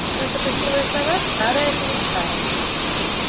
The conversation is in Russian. наша почтовая сова старая-престарая